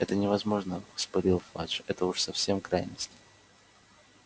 это невозможно вспылил фадж это уж совсем крайность